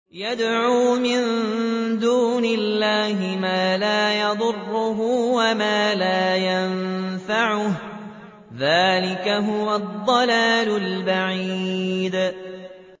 يَدْعُو مِن دُونِ اللَّهِ مَا لَا يَضُرُّهُ وَمَا لَا يَنفَعُهُ ۚ ذَٰلِكَ هُوَ الضَّلَالُ الْبَعِيدُ